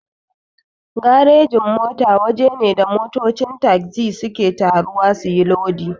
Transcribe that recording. Garejin-mota waje ne da motocin tagzi suke taruwa suyi lodi.